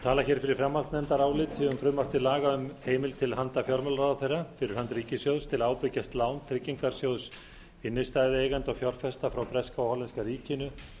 meiri hluta fjárlaganefndar um frumvarp til laga um heimild til handa fjármálaráðherra fyrir hönd ríkissjóðs til að ábyrgjast lán tryggingarsjóðs innstæðueigenda og fjárfesta frá breska og hollenska ríkinu